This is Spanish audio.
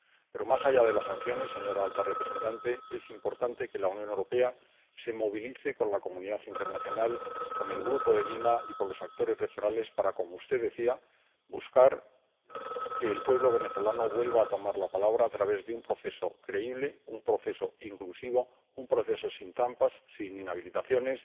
Pero más allá de las sanciones, señora alta representante, es importante que la Unión Europea se movilice con la comunidad internacional, con el Grupo de Lima y con los actores regionales para, como usted decía, perseguir que el pueblo venezolano vuelva a tomar la palabra a través de un proceso creíble, un proceso inclusivo, un proceso sin trampas, sin inhabilitaciones,